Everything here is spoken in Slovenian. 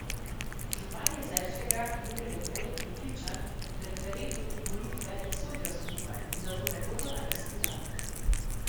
Župan Jezerskega Jurij Rebolj je prepričan, da referendum in volitve ne sodijo skupaj in zato ne bodo na isti dan.